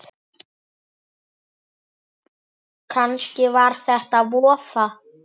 Kannski var þetta vofa